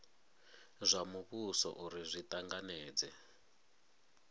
zwa muvhuso uri zwi tanganedze